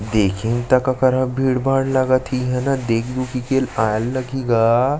देखिन तक अलकर हा भीड़-भाड़ लगत हेइहाँ न देख दुखी के आए लगही गा।